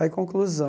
Aí, conclusão,